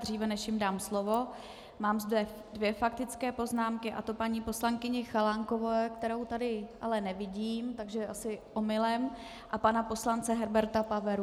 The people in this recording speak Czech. Dříve než jim dám slovo, mám zde dvě faktické poznámky, a to paní poslankyně Chalánkové, kterou tu ale nevidím, takže asi omylem, a pana poslance Herberta Pavery.